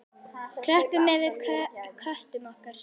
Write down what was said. Klöppum fyrir köttum okkar!